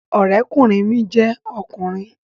Ọ̀rẹ́kùnrin mi jẹ́ ọkùnrin